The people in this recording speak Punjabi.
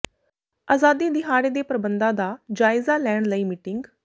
ਆਜ਼ਾਦੀ ਦਿਹਾੜੇ ਦੇ ਪ੍ਰਬੰਧਾਂ ਦਾ ਜਾਇਜ਼ਾ ਲੈਣ ਲਈ ਮੀਟਿੰਗ